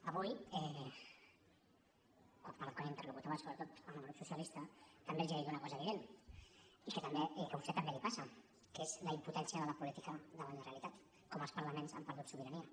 avui quan interlocutava sobretot amb el grup socialista també els ha dit una cosa evident i que a vostè també li passa que és la impotència de la política davant la realitat com els parlaments han perdut sobirania